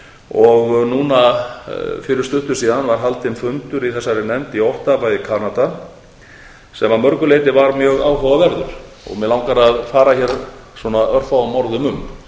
og núna fyrir stuttu síðan var haldinn fundur í þessari nefnd í ottawa í halda sem að mörgu leyti var mjög áhugaverður og mig langar að fara hér örfáum orðum um